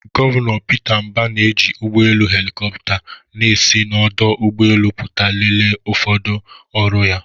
Gọvanọ Peter Mbah na-eji ụgbọ elu helikopta na-esi n'ọdụ ụgbọ elu pụta lelee ụfọdụ ọrụ ya.